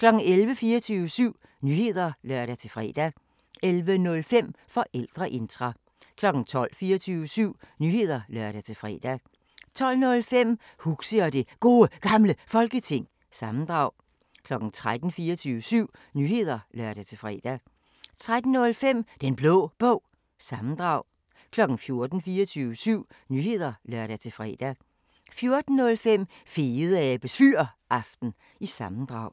11:00: 24syv Nyheder (lør-fre) 11:05: Forældreintra 12:00: 24syv Nyheder (lør-fre) 12:05: Huxi og det Gode Gamle Folketing – sammendrag 13:00: 24syv Nyheder (lør-fre) 13:05: Den Blå Bog – sammendrag 14:00: 24syv Nyheder (lør-fre) 14:05: Fedeabes Fyraften – sammendrag